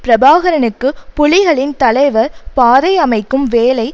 பிரபாகரனுக்கு புலிகளின் தலைவர் பாதை அமைக்கும் வேலை